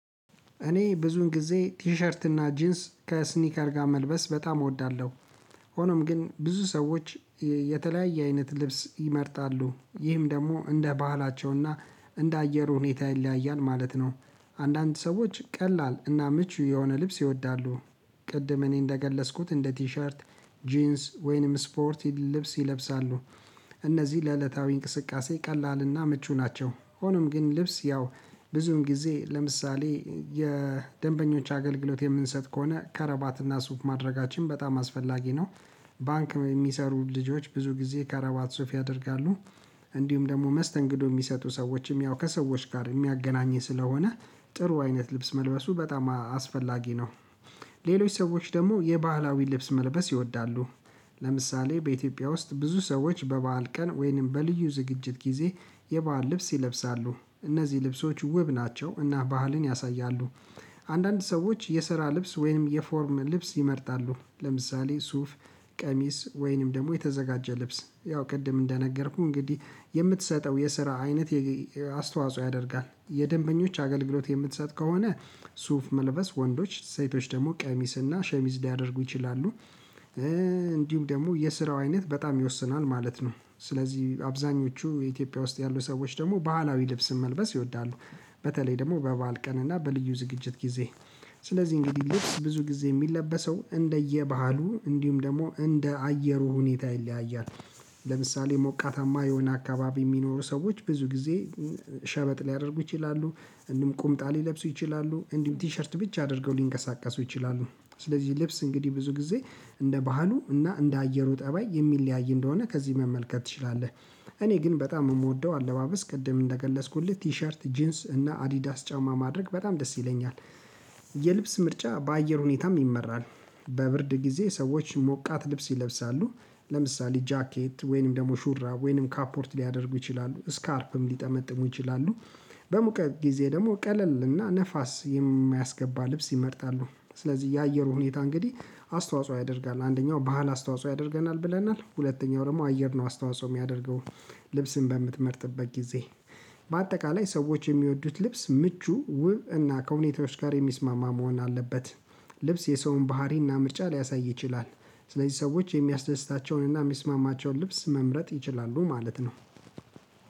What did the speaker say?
እኔ ብዙን ጊዜ ቲሸርት እና ጂንስ ከስኒከር ጋር መልበስ በጣም እወዳለሁ። ሆኖም ግን ብዙ ሰዎች የተለያየ አይነት ልብስ ይመርጣሉ ይህም ደግሞ እንደ ባህላቸውና እንደ አየሩ ሁኔታ ይለያያል ማለት ነው። አንዳንድ ሰዎች ቀላል እና ምቹ የሆነ ልብስ ይወዳሉ። ቅድም እኔ እንደገለጽኩት እንደ ቲሸርት ጂንስ ወይንም ስፖርት ልብስ ይለብሳሉ። እነዚህ ለዕለታዊ እንቅስቃሴ ቀላልና ምቹ ናቸው። ሆኖም ግን ልብስ ያው ብዙም ጊዜ ለምሳሌ የደንበኞች አገልግሎት የምንሰጥ ከሆነ ከረባትና ሱፍ ማድረጋችን በጣም አስፈላጊ ነው። ባንክ የሚሰሩ ልጆች ብዙ ጊዜ ከራባት ሱፍ ያደርጋሉ። እንዲሁም ደግሞ መስተንግዶ የሚሰጡ ሰዎችም ያው ከሰዎች ጋር የሚያገናኝ ስለሆነ ጥሩ አይነት ልብስ መልበሱ በጣም አስፈላጊ ነው። ሌሎች ሰዎች ደግሞ የባህላዊ ልብስ መልበስ ይወዳሉ። ለምሳሌ በኢትዮጵያ ውስጥ ብዙ ሰዎች በበዓል ቀን ወይንም በልዩ ዝግጅት ጊዜ የበአል ልብስ ይለብሳሉ እነዚህ ልብሶች ውብ ናቸው እና ባህልን ያሳያሉ። አንዳንድ ሰዎች የስራ ልብስ ወይም የፎርም ልብስ ይመርጣሉ። ለምሳሌ ሱፍ ቀሚስ ወይንም ደግሞ የተዘጋጀ ልብስ ያው ቅድም እንደነገርኩህ እንግዲህ የምትሰጠው የስራ አይነት አስተዋጽኦ ያደርጋል የደንበኞች አገልግሎት የምትሰጥ ከሆነ ሱፍ መልበስ ወንዶች ሴቶች ደግሞ ቀሚስና ሸሚዝ ሊያደርጉ ይችላሉ። እንዲሁም ደግሞ የስራው አይነት በጣም ይወስናል ማለት ነው ስለዚህ አብዛኞቹ የኢትዮጵያ ውስጥ ያሉ ሰዎች ደግሞ ባህላዊ ልብስ መልበስ ይወዳሉ። በተለይ ደግሞ በበዓል ቀን እና በልዩ ዝግጅት ጊዜ ስለዚህ እንግዲህ ልብስ ብዙ ጊዜ የሚለበሰው እንደየባህሉ እንዲሁም ደግሞ እንደ አየሩ ሁኔታ ይለያያል። ለምሳሌ ሞቃታማ የሆነ አካባቢ የሚኖሩ ሰዎች ብዙ ጊዜ ሸበጥ ሊያደርጉ ይችላሉ። እንደውም ቁምጣ ሊለብሱ ይችላሉ እንዲሁም ቲሸርት ብቻ አድርገው ሊንቀሳቀሱ ይችላሉ። ስለዚህ ልብስ እንግዲህ ብዙ ጊዜ እንደ ባህሉ እና እንደ አየሩ ጠባይ የሚለያይ እንደሆነ ከዚህ መመልከት ትችላለህ። እኔ ግን በጣም ምወደው አለባበስ ቅድም እንደገለጽኩልህ ቲሸርት ጂንስ እና አዲዳስ ጫማ ማድረግ በጣም ደስ ይለኛል። የልብስ ምርጫ በአየር ሁኔታም ይመራል። በብርድ ጊዜ ሰዎች ሞቃት ልብስ ይለብሳሉ ለምሳሌ ጃኬት ወይንም ደግሞ ሹራብ ወይንም ካፖርት ሊያደርጉ ይችላሉ ስካርፕም ሊጠመጥሙ ይችላሉ። በሙቀት ጊዜ ደግሞ ቀለል እና ነፋስ የሚያስገባ ልብስ ይመርጣሉ። ስለዚህ የአየሩ ሁኔታ እንግዲህ አስተዋጽኦ ያደርጋል አንደኛው ባህል አስተዋጽኦ ያደርገናል ብለናል ሁለተኛው ደግሞ አየር ነው አስተዋጽኦ የሚያደርገውን። ልብስን በምትመርጥበት ጊዜ በአጠቃላይ ሰዎች የሚወዱት ልብስ ምቹ ውብ እና ከሁኔታዎች ጋር የሚስማማ መሆን አለበት። ልብስ የሰውን ባህሪና ምርጫ ሊያሳይ ይችላል። ስለዚህ ሰዎች የሚያስደስታቸውንና የሚስማማቸውን ልብስ መምረጥ ይችላሉ ማለት ነው